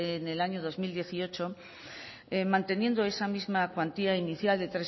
en el año dos mil dieciocho manteniendo esa misma cuantía inicial de